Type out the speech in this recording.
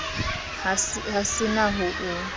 ha se na ho o